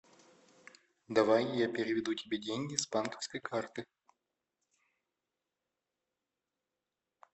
давай я переведу тебе деньги с банковской карты